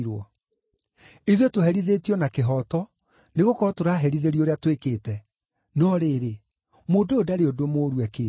Ithuĩ tũherithĩtio na kĩhooto, nĩgũkorwo tũraherithĩrio ũrĩa twĩkĩte. No rĩrĩ, mũndũ ũyũ ndarĩ ũndũ mũũru ekĩte.”